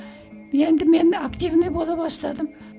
енді мені активный бола бастадым